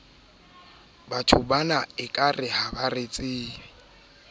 iv ho dilatantle le thekisontle